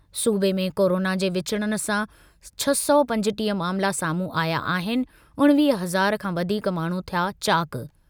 सूबे में कोरोना जे विचुड़णु सां छह सौ पंजटीह मामला साम्हूं आया आहिनि उणिवीह हज़ार खां वधीक माण्हू थिया चाक।